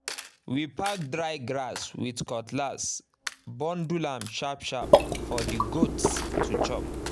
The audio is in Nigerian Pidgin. we pack dry grass with cutlass bundle am sharp-sharp for the goats to chop